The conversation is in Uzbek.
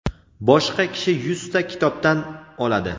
boshqa kishi yuzta kitobdan oladi.